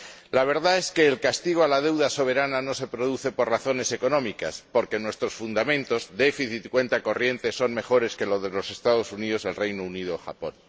La verdad es que el castigo a la deuda soberana no se produce por razones económicas, porque nuestros fundamentos déficit cuenta corriente son mejores que los de los Estados Unidos, el Reino Unido o Japón.